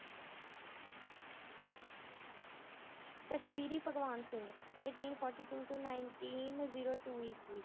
ਭਗਵਾਨ Singh eighteen forty two ਤੋਂ nineteen zero two ਈਸਵੀ